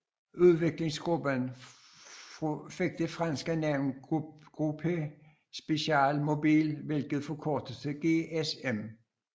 Udviklingsgruppen fik det franske navn Groupe Spéciale Mobile hvilket forkortedes til GSM